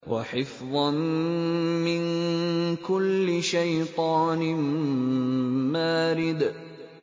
وَحِفْظًا مِّن كُلِّ شَيْطَانٍ مَّارِدٍ